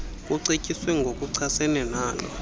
kucetyiswe ngokuchasene nalo